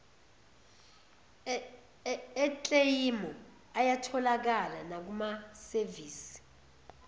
ekleyimu ayatholakala nakumasevisi